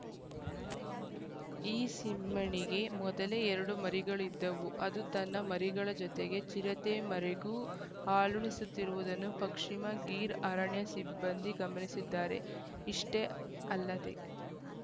ಈ ಸಿಂಹಿಣಿಗೆ ಮೊದಲೇ ಎರಡು ಮರಿಗಳು ಇದ್ದವು ಅದು ತನ್ನ ಮರಿಗಳ ಜತೆಗೆ ಚಿರತೆ ಮರೆಗೂ ಹಾಲುಣಿಸುತ್ತಿರುವುದನ್ನು ಪಶ್ಚಿಮ ಗಿರ್‌ ಅರಣ್ಯ ಸಿಬ್ಬಂದಿ ಗಮನಿಸಿದ್ದಾರೆ ಇಷ್ಟೇ ಅಲ್ಲದೆ